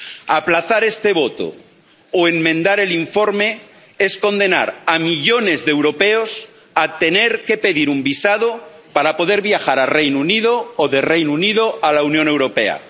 Aplazar este voto o enmendar el informe es condenar a millones de europeos a tener que pedir un visado para poder viajar al Reino Unido o del Reino Unido a la Unión Europea.